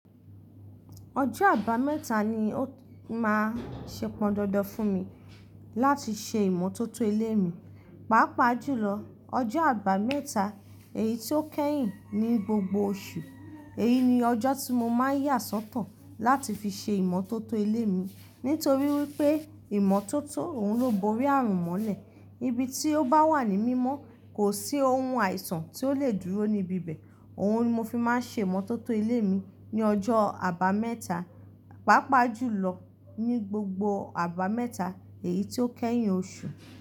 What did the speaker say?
Ọjọ́ Àbàmẹ́ta ni ó máa ṣepọndandan fún mi láti ṣe ìmọ́tótó ilé mi, pàápàá jùlọ ọjọ́ Àbàmẹ́ta èyí tí ó kẹ́yìn ní gbogbo oṣù. Èyí ni ọjọ́ tí mo máa ń yà sọ́tọ̀ láti fi ṣe ìmọ́tótó ilé mi. Nítorí wípé ìmọ́tótó òun ló borí ààrùn mọ́lẹ̀, ibi tí ó bá wà ní mímọ́ kò sí ohun àìsàn tí ó lè dúró níbi bẹ́ẹ̀. Òun ni mo fi máa ń ṣe ìmọ́tótó ilé mi ní ọjọ́ Àbàmẹ́ta, pàápàá jùlọ ní gbogbo Àbàmẹ́ta èyí tí ó kẹ́yìn oṣù.